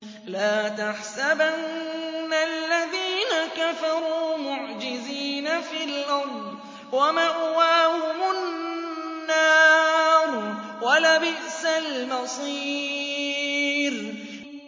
لَا تَحْسَبَنَّ الَّذِينَ كَفَرُوا مُعْجِزِينَ فِي الْأَرْضِ ۚ وَمَأْوَاهُمُ النَّارُ ۖ وَلَبِئْسَ الْمَصِيرُ